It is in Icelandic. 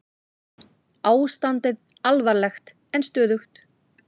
Ástandið alvarlegt en stöðugt